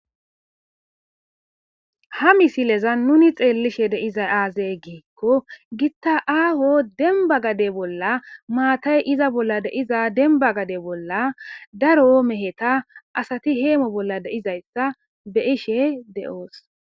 ha misileza nuni xeellishe dizay aazey giikko gitta aaho dembba gade bolla maatay iza bolla de'iza demba gade bolla daro meheta asati heemo bolla dizayssa beyishe de'oos.